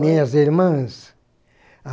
Minhas irmãs?